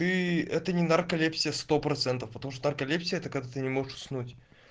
ы это не нарколепсия сто процентов потому что нарколепсия это когда ты не можешь уснуть